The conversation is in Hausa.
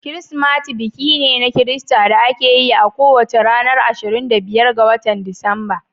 Kirsimati biki ne na Kirista da ake yi a kowane ranar ashirin da biyar ga watan Disamba.